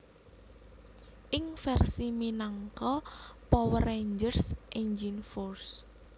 Ing versi minangka Power Rangers Engine Force